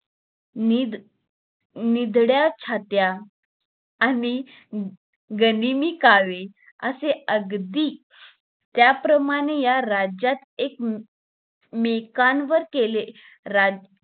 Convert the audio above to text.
निधी निधड्या छात्या आणि गनिमी कावे असे अगदी त्या प्रमाणे या राज्यात एक मेकांवर केलेले राज्य